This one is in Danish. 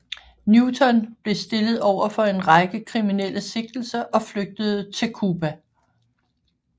Newton blev stillet over for en række kriminelle sigtelser og flygtede til Cuba